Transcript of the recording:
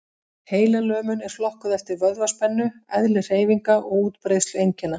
Heilalömun er flokkuð eftir vöðvaspennu, eðli hreyfinga og útbreiðslu einkenna.